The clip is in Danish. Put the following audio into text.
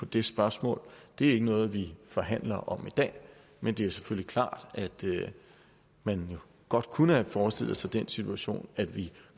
det spørgsmål er ikke noget vi forhandler om i dag men det er selvfølgelig klart at man jo godt kunne have forestillet sig den situation at vi